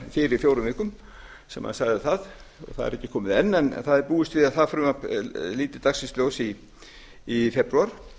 fyrir fjórum vikum sem hann sagði það það er ekki komið enn en það er búist við að það frumvarp líti dagsins ljós í febrúar